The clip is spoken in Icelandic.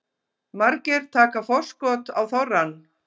Margir taka forskot á þorrann